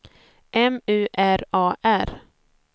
M U R A R